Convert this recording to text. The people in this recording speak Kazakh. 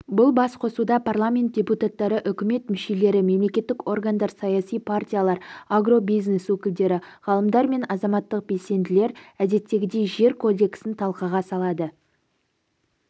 бұл бас қосуда парламент депутаттары үкімет мүшелері мемлекеттік органдар саяси партиялар агробизнес өкілдері ғалымдар мен азаматтық белсенділер әдеттегідей жер кодексін талқыға салады